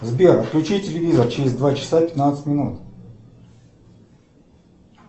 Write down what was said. сбер отключи телевизор через два часа пятнадцать минут